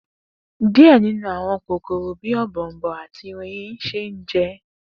Diẹ ninu awọn kokoro bi ọ̀bọ̀ọ̀nbọọ̀n ati oyin le jẹ.